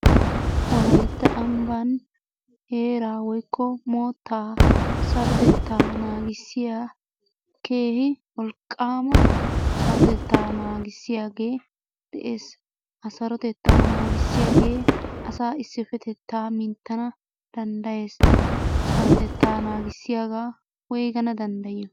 Wolayitta ambban heeraa woykko moottaa sarotettaa naagissiya keehi wolqqaama asrotettaa naagissiyage de'es. Ha sarotettaa naagissiyagee asaa issippetettaa minttana danddayees. Sarotettaa naagissiyagaa woyigana danddayiyo?